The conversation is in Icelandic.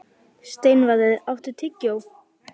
Steinvarður, áttu tyggjó?